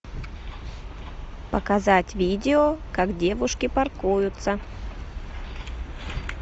показать видео как девушки паркуются